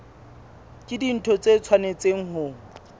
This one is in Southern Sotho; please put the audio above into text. ke dintho tse tshwanetseng ho